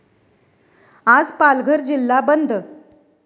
आज पालघर जिल्हा बंद